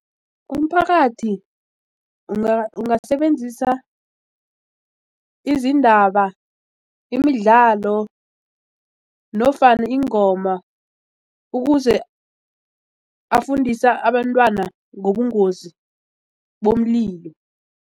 Umphakathi ungasebenzisa izindaba imidlalo nofana ingoma ukuze afundisa abantwana ngobungozi bomlilo.